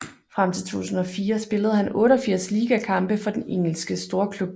Frem til 2004 spillede han 88 ligakampe kampe for den Engelske storklub